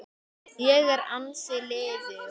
Ég er ansi liðug!